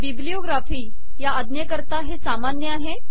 bibliography या अज्ञेकरता हे सामान्य आहे